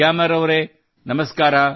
ಗ್ಯಾಮರ್ ಅವರೆ ನಮಸ್ಕಾರ